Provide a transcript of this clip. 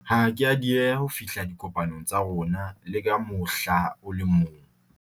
ha a ke a dieha ho fihla dikopanong tsa rona le ka mohla o le mong